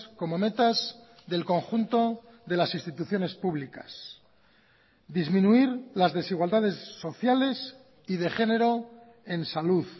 como metas del conjunto de las instituciones públicas disminuir las desigualdades sociales y de género en salud